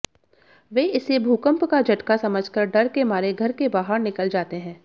वे इसे भूकंप का झटका समझकर डर के मारे घर के बाहर निकल जाते हैं